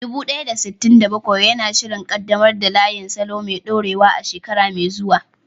Dubu ɗaya da sittin da bakwai yana shirin ƙaddamar da layin salo mai dorewa a shekara mai zuwa.